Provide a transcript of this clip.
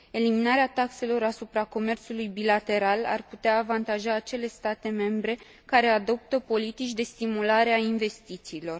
Eliminarea taxelor asupra comerțului bilateral ar putea avantaja acele state membre care adoptă politici de stimulare a investițiilor.